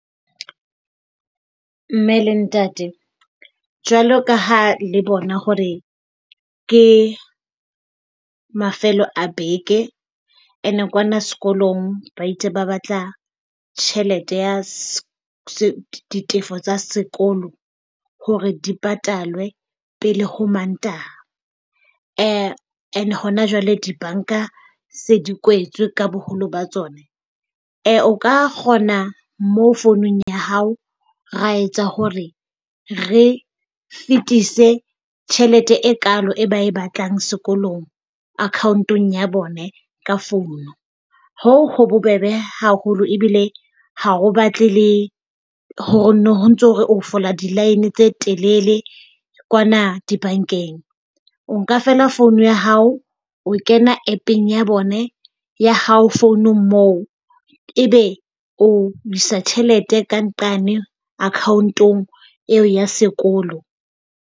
Mme le ntate, jwalo ka ha le bona hore ke mafelo a beke and kwana sekolong ba itse ba batla tjhelete ya ditefo tsa sekolo hore di patalwe pele ho Mantaha. And hona jwale dibanka se di kwetswe ka boholo ba tsona. o ka kgona mo founung ya hao ra etsa hore re fetise tjhelete e kalo e ba e batlang sekolong account-ong ya bone ka phone. Hoo ho bobebe haholo ebile ha ho batle le hore no ntso o fola di-line tse telele kwana dibankeng. O nka feela phone ya hao. O kena App-eng ya bone ya hao founong moo, ebe o isa tjhelete ka nqane account-ong eo ya sekolo.